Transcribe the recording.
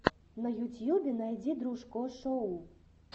на ютьюбе найди дружко шоу